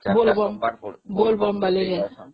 Bol Bam